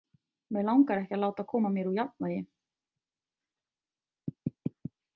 Mig langar ekki að láta koma mér úr jafnvægi.